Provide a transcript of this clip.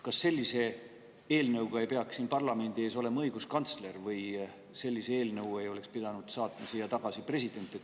Kas sellise eelnõuga ei peaks siin parlamendi ees olema õiguskantsler või eelnõu ei oleks pidanud president siia tagasi saatma?